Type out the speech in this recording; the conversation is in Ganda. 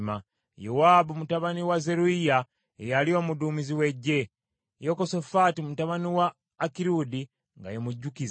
Yowaabu mutabani wa Zeruyiya ye yali omuduumizi w’eggye, Yekosafaati mutabani wa Akirudi nga ye mujjukiza,